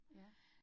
Ja